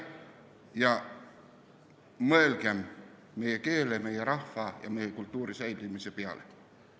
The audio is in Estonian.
Mõelgem meie keele, meie rahva ja meie kultuuri säilimise peale.